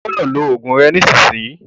Ó gbọ́dọ̀ lo oògùn rẹ nísìsiyìí!